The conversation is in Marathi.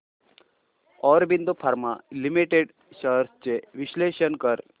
ऑरबिंदो फार्मा लिमिटेड शेअर्स चे विश्लेषण कर